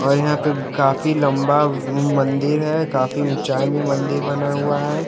और यहाँ पे काफी लंबा मंदिर है काफी ऊंचाई में मंदिर बना हुआ है।